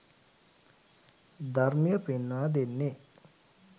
ධර්මය පෙන්වා දෙන්නේ